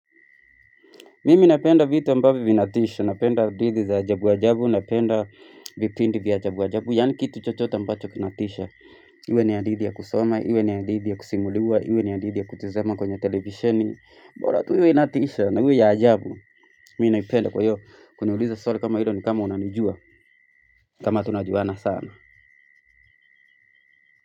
Mimi napenda vitu ambavvyo vinatisha, napenda didhi za ajabu-ajabu, napenda viprinti vya ajabu-ajabu, yani kitu chochote ambacho kinatisha. Iwe ni adithi ya kusoma, iwe ni hadhithi ya kusimuliwa, iwe ni adidhi ya kutuzema kwenye televisheni. Bola tu iwe inatisha na iwe ya ajabu, mi naipenda kwa hiyo, kuniuliza swali kama ilo ni kama unanijua, kama tunajuana sana.